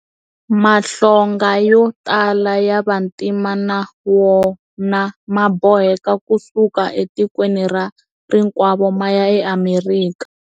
Mahlonga yo tala ya vantima na wona ma boheke ku suka etikweni ra rikwavo ma ya eAmerika.